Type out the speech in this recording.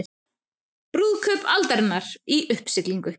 Brúðkaup aldarinnar í uppsiglingu